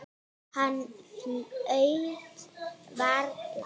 Hann flaut varla.